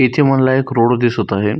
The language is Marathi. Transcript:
इथे मला एक रोड दिसत आहे.